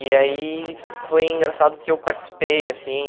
E aí foi engraçado porque eu participei, assim.